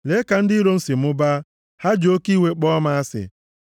Lee ka ndị iro m si mụbaa, ha ji oke iwe kpọọ m asị.